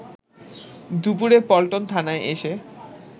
দুপুরে পল্টন থানায় এসে